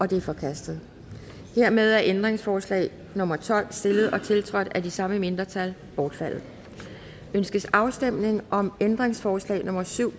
de er forkastet hermed er ændringsforslag nummer tolv stillet og tiltrådt af de samme mindretal bortfaldet ønskes afstemning om ændringsforslag nummer syv